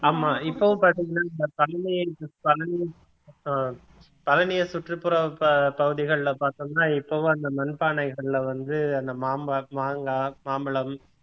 ஆமா இப்பவும் பாத்தீங்கன்னா இந்த அஹ் பழனியை சுற்றுப்புற ப~ பகுதிகள்ல பார்த்தோம்னா இப்பவும் அந்த மண் பானைகள்ல வந்து அந்த மாம்ப~ மாங்கா, மாம்பழம்